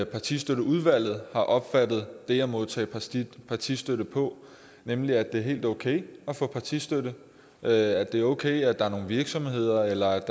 partistøtteudvalget har opfattet det at modtage partistøtte på nemlig at det er helt okay at få partistøtte at det er okay at der er nogle virksomheder eller